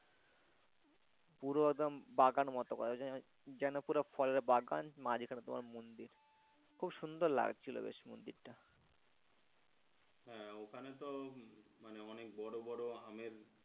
পুরো একদম বাগান মতো করা আছে যেন পুরো ফলের বাগান মাঝখানে তোমার মন্দির খুব সুন্দর লাগছিল বেশ মন্দিরটা হ্যাঁ ওখানে তো মানে অনেক বড়ো বড়ো আমের,